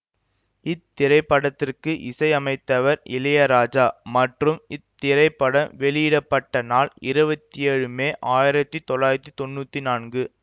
இத்திரைப்படத்திற்கு இசையமைத்தவர் இளையராஜா மற்றும் இத்திரைப்படம் வெளியிட பட்ட நாள் இருவத்தி ஏழு மே ஆயிரத்தி தொள்ளாயிரத்தி தொன்னூத்தி நான்கு